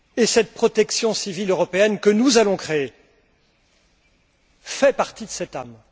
Cette protection civile européenne que nous allons créer fait partie de cette âme.